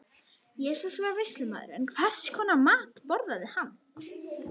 Jesús var veislumaður, en hvers konar mat borðaði hann?